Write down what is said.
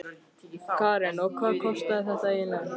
Karen: Og hvað kostaði þetta eiginlega?